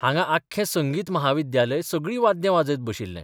हांगां आख्खें संगीत महाविद्यालय सगळीं वाद्यां बाजयत बशिल्लें.